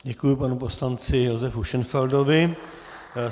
Děkuji panu poslanci Josefu Šenfeldovi.